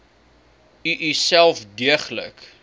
u uself deeglik